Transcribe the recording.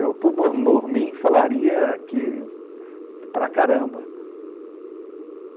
Eu, por mim, falaria aqui para caramba.